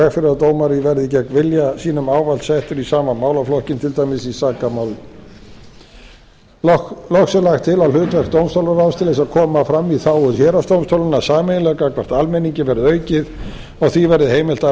fyrir að dómari verði gegn vilja sínum ávallt settur í sama málaflokkinn til dæmis í sakamálum loks er lagt til að hlutverk dómstólaráðs til að koma fram í þágu héraðsdómstóla sameiginlega gagnvart almenningi verði aukið og því verði heimilt að